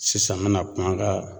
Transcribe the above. Sisan me na kuma an ka